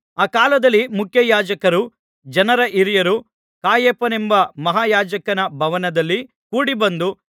ಆ ಕಾಲದಲ್ಲಿ ಮುಖ್ಯಯಾಜಕರೂ ಜನರ ಹಿರಿಯರೂ ಕಾಯಫನೆಂಬ ಮಹಾಯಾಜಕನ ಭವನದಲ್ಲಿ ಕೂಡಿಬಂದು